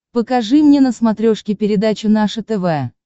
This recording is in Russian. покажи мне на смотрешке передачу наше тв